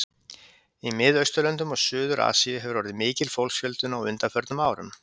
Í Miðausturlöndum og Suður-Asíu hefur orðið mikil fólksfjölgun á undanförnum árum.